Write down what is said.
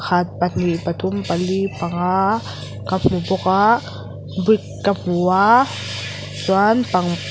pakhat pahnih pathum pali panga ka hmu bawk a brick ka hmu a chuan pang--